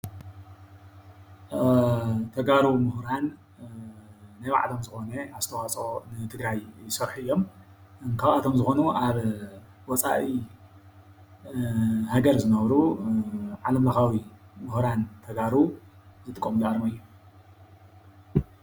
ተጋሩ ምሁራን ናይ ባዕሎም ዝኾነ ኣስተዋፅኦ ንትግራይ ይሰርሑ እዮም። ካብኣቶም ዝኾኑ ኣብ ወፃኢ ሃገር ዝነብሩ ናይ ዓለምለኻዊ ሙሁራን ተጋሩ ዝጥቀሙሉ ኣርማ እዩ።